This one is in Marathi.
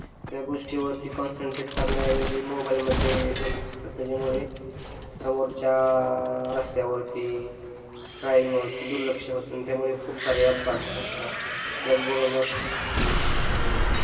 त्या गोष्टीवरती कॉन्सन्ट्रेटे करण्याऐवजी मोबाईल मध्ये बघत असतात त्याच्यामुळे समोरच्या रस्त्यावरती दुर्लक्ष होत त्यामुळे खूप सारे अपघात घडतात त्याच बरोबर अं